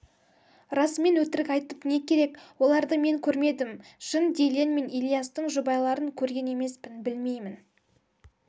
расымен өтірік айтып не керек оларды мен көрмедім шын дильен мен ильястың жұбайларын көрген емеспін білмеймін